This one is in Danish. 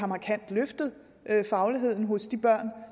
markant har løftet fagligheden hos de børn